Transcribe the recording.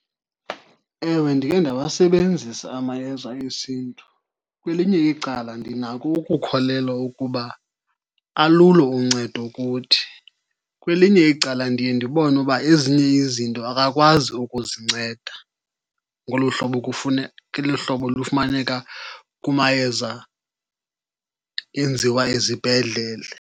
Ewe, ndikhe ndawasebenzisa amayeza esiNtu. Kwelinye icala ndinako ukukholelwa ukuba alulo uncedo kuthi. Kwelinye icala ndiye ndibone uba ezinye izinto akakwazi ukuzinceda ngolu hlobo , ngolu hlobo lufumaneka kumayeza enziwa ezibhedlele.